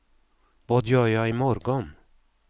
vad gör jag imorgon